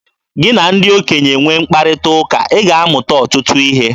Gị na ndị okenye nwee mkparịta ụka, ị ga-amụta ọtụtụ ihe.